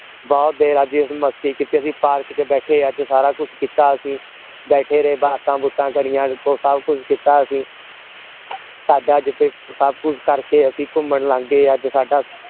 ਬਹੁਤ ਦੇਰ ਅਸੀਂ ਅੱਜ ਮਸਤੀ ਕੀਤੀ park ਚ ਬੈਠੇ ਅਜੇ ਸਾਰਾ ਕੁਛ ਕੀਤਾ ਅਸੀਂ ਬੈਠੇ ਰਹੇ ਬਾਤਾਂ ਬੁਤਾਂ ਕਰੀਆਂ ਉਹ ਸਭ ਕੁਛ ਕੀਤਾ ਅਸੀਂ ਸਾਡਾ ਜਿਥੇ ਸਭ ਕੁਛ ਕਰਕੇ ਅਸੀਂ ਘੁੰਮਣ ਲੰਘ ਗਏ ਅੱਜ ਸਾਡਾ